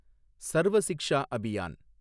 Sarva Shiksha Abhiyan